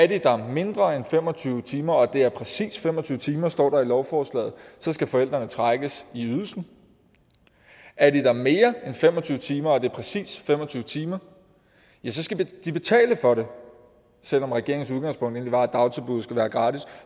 de der mindre end fem og tyve timer og det er præcis fem og tyve timer står der i lovforslaget så skal forældrene trækkes i ydelsen er de der mere end fem og tyve timer og det er præcis fem og tyve timer skal de betale for det selv om regeringens udgangspunkt egentlig var at dagtilbud skulle være gratis